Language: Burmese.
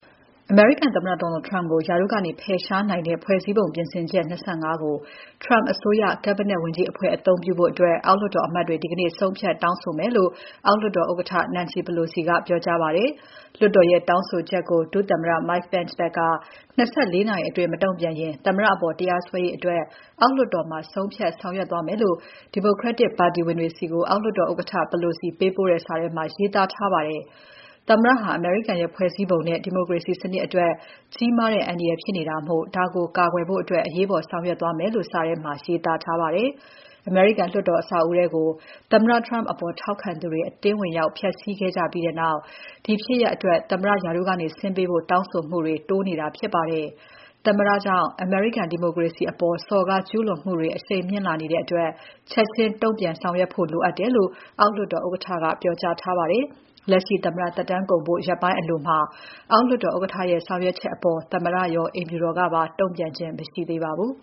အမေရိကန်သမ္မတ Donald Trump ကို ရာထူးကနေ ဖယ်ရှားနိုင်တဲ့ ဖွဲ့စည်းပုံပြင်ဆင်ချက် ၂၅ ကို Trump အစိုးရ Cabinet ဝန်ကြီးအဖွဲ့ အသုံးပြုဖို့ အောက်လွှတ်တော်အမတ်တွေ ဒီနေ့ ဆုံးဖြတ်တောင်းဆိုမယ်လို့ အောက်လွှတ်တော် ဥက္ကဋ္ဌ Nancy Pelosi ကပြောကြားပါတယ်။ လွှတ်တော်ရဲ့တောင်းဆိုချက်ကို ဒုသမ္မတ Mike Pence ဘက်က ၂၄ နာရီအတွင်း မတုံ့ပြန်ရင် သမ္မတအပေါ် တရားစွဲရေးအတွက် အောက်လွှတ်တော်မှာ ဆုံးဖြတ်ဆောင်ရွက်သွားမယ်လို့ Democratic ပါတီဝင်တွေဆီ အောက်လွှတ်တော်ဥက္ကဋ္ဌ Pelosi ပေးပို့တဲ့ စာထဲမှာ ရေးသားထားပါတယ်။ သမ္မတဟာ အမေရိကန်ရဲ့ ဖွဲ့စည်းပုံနဲ့ ဒီမိုကရေစီစနစ်အတွက် ကြီးမားတဲ့အန္တရာယ်ဖြစ်နေတာမို့ ဒါကိုကာကွယ်ဖို့အတွက် အရေးပေါ် ဆောင်ရွက်သွားမယ်လို့ စာထဲမှာ ရေးသားထားပါတယ်။ အမေရိကန်လွှတ်တော်အဆောက်အဦးထဲကို သမ္မတ Trump အပေါ် ထောက်ခံသူတွေ အတင်းဝင်ရောက်တိုက်ခိုက်ခဲ့ကြပြီးနောက် ဒီဖြစ်ရပ်အတွက် သမ္မတရာထူးကနေဆင်းပေးဖို့ တောင်းဆိုမှုတွေ တိုးနေတာဖြစ်ပါတယ်။ သမ္မတကြောင့် အမေရိကန်ဒီမိုကရေစီအပေါ် စော်ကားကျူးလွန်မှုတွေ အရှိန်မြင့်လာနေတဲ့အတွက် ချက်ချင်း တုံ့ပြန်ဆောင်ရွက်ဖို့လိုအပ်တယ်လို့ အောက်လွှတ်တော်ဥက္ကဋ္ဌက ပြောကြားထားပါတယ်။ လက်ရှိသမ္မတသက်တမ်းကုန်ဖို့ ရက်ပိုင်းအလိုမှာ အောက်လွှတ်တော်ဥက္ကဋ္ဌရဲ့ ဆောင်ရွက်ချက်အပေါ် သမ္မတရော အိမ်ဖြူတော်ကပါ တုံ့ပြန်ခြင်း မရှိသေးပါဘူး